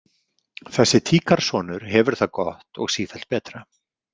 Þessi tíkarsonur hefur það gott og sífellt betra.